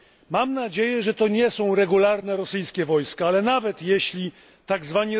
Mam nadzieję, że to nie są regularne rosyjskie wojska, ale nawet jeśli są to tzw.